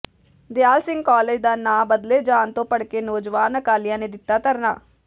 ਦਿਆਲ Singh college ਦਾ ਨਾਂਅ ਬਦਲੇ ਜਾਣ ਤੋਂ ਭੜਕੇ ਨੌਜਵਾਨ ਅਕਾਲੀਆਂ ਨੇ ਦਿੱਤਾ ਧਰਨਾ